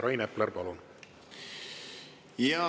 Rain Epler, palun!